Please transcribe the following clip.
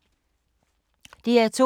DR2